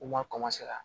U ma ka